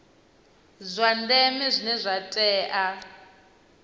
zwa ndeme zwine zwa tea